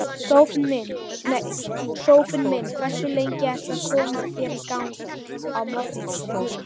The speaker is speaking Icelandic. Sófinn minn Hversu lengi ertu að koma þér í gang á morgnanna?